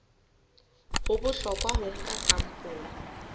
ho bohlokwa ho nka sampole